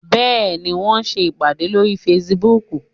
Bẹ́ẹ̀ni, wọ́n ń ṣe ìpàdé lórí Facebook